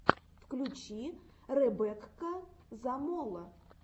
включи ребекка замоло